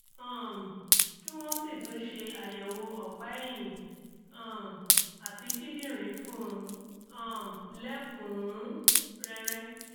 um kí wọ́n sì tún ṣe àyẹ̀wò ọ̀pá ẹ̀yìn um àti kíndìnrín fún un um lẹ́kùn-ún-rẹ́rẹ́